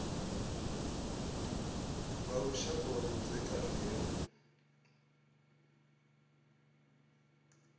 nga lushaka lwa vhudzekani he